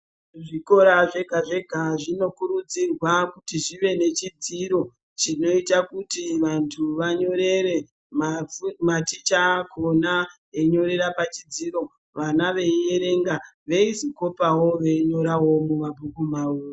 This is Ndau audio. Zvikora zvega-zvega zvinokurudzirwa kuti zvive nechidziro chinoita kuti vanthu vanyorere-maticha akhona einyorera pachidziro vana veierenga veizokopawo veinyorawo mumabhuku mavo.